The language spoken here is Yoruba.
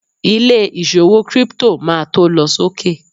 ilé ìṣòwò crypto ma to lọ sókè